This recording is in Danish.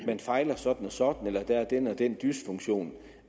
man fejler sådan og sådan eller at der er den og den dysfunktion